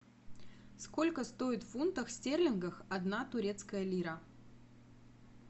сколько стоит в фунтах стерлингов одна турецкая лира